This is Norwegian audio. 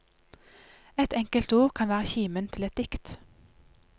Ett enkelt ord kan være kimen til et dikt.